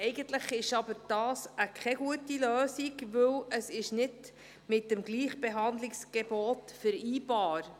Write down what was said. Eigentlich ist das keine gute Lösung, denn es ist nicht mit dem Gleichbehandlungsgebot zu vereinbaren.